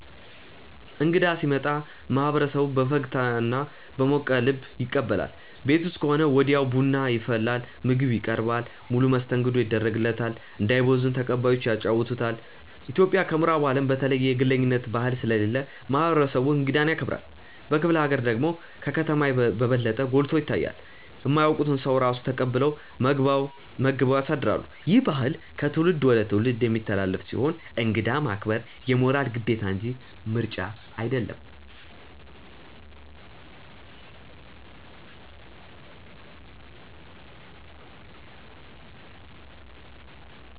እንግዳ ሲመጣ ማህበረሰቡ በፈገግታና በሞቀ ልብ ይቀበላል። ቤት ውስጥ ከሆነ ወዲያው ቡና ይፈላል፣ ምግብ ይቀርባል፣ ሙሉ መስተንግዶ ይደረግለታል። እንዳይቦዝን ተቀባዮቹ ያጫውቱታል። ኢትዮጵያ ከምዕራቡ አለም በተለየ የግለኝነት ባህል ስለሌለ ማህበረሰቡ እንግዳን ያከብራል። በክፍለ ሀገር ደግሞ ከከተማ በበለጠ ጎልቶ ይታያል። የማያውቁትን ሰው ራሱ ተቀብለው መግበው ያሳድራሉ። ይህ ባህል ከትውልድ ወደ ትውልድ የሚተላለፍ ሲሆን እንግዳ ማክበር የሞራል ግዴታ እንጂ ምርጫ አይደለም።